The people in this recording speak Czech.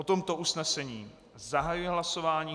O tomto usnesení zahajuji hlasování.